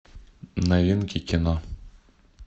новинки кино